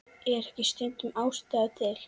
Er ekki stundum ástæða til?